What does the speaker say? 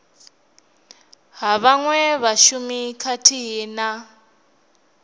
ha vhaṅwe vhashumi khathihi na